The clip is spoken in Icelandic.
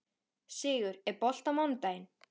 Sigur, er bolti á mánudaginn?